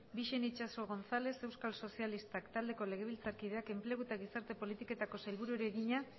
bixen itxaso gonzález euskal sozialistak taldeko legebiltzarkideak enplegu eta gizarte politiketako sailburuari egina